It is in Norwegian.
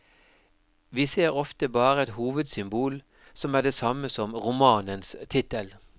Vi ser ofte bare et hovedsymbol som er det samme som romanens tittel.